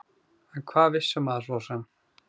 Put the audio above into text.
En hvað vissi maður svo sem?